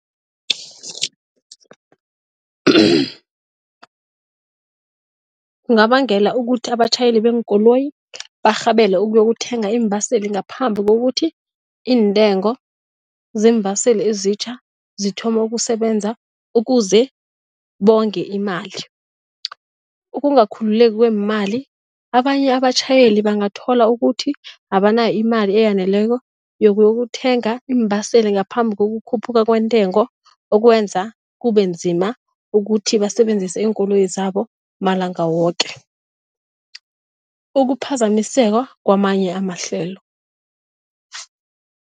Kungabangela ukuthi abatjhayeli beenkoloyi barhabele ukuyokuthenga iimbaseli ngaphambi kokuthi iintengo zeembaseli ezitjha zithome ukusebenza ukuze bonge imali. Ukungakhululeki kweemali, abanye abatjhayeli bangathola ukuthi abanayo imali eyaneleko yokuyokuthenga iimbaseli ngaphambi kokukhuphuka kwentengo okwenza kubenzima ukuthi basebenzise iinkoloyi zabo malanga woke, ukuphazamiseka kwamanye amahlelo.